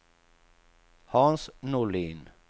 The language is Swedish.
Hans Norlin